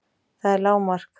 Það er lágmark!